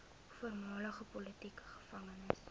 voormalige politieke gevangenes